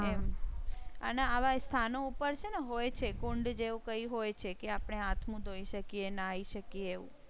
અને આવા સ્થાનો ઉપર છે. હોય છે કુંડ જેવું કઈ હોય છે કે આપણે હાથ મોં ધોઈ શકીએ નાહી શકીએ એમ